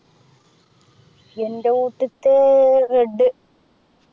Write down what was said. എൻ്റെ വീട്ടിത്തെ Red